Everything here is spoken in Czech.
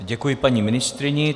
Děkuji paní ministryni.